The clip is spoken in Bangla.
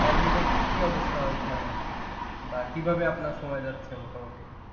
বা কীভাবে আপনার সময় যাচ্ছে মোটামুটি?